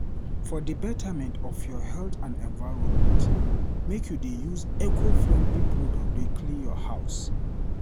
For di betterment of your health and environment, make you dey use eco-friendly product dey clean your house.